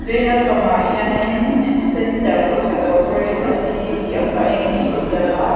vei lam pang ah hianin center pakhat corporation tih a eng in a in ziak a.